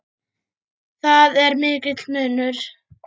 Þar er mikill munur.